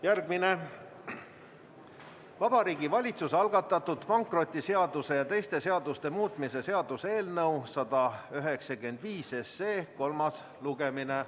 Järgmine punkt on Vabariigi Valitsuse algatatud pankrotiseaduse ja teiste seaduste muutmise seaduse eelnõu 195 kolmas lugemine.